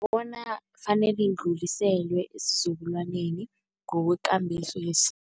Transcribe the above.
Bona ifanele idluliselwe esizukulwaneni ngokwekambiso